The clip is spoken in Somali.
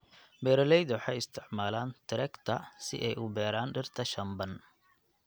Beeraleyda waxay isticmaalaan trekta si ay u beeraan dhirta shamban.